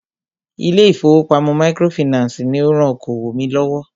Ilé ìfọwọ́pamo microfinancii ní o rán okoòwò mí lọ́wọ́.